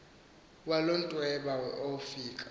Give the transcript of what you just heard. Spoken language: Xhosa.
walo mntwena owafika